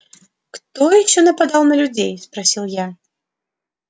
кто ещё нападал на людей спросил я